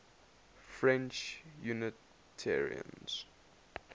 french unitarians